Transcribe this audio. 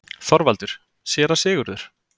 ÞORVALDUR: Séra Sigurður!